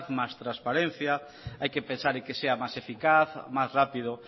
más transparencia hay que pensar y que sea más eficaz más rápido